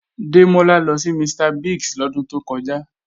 Démọ́lá lọ sí Mr. Biggs lọ́dún tó kọjá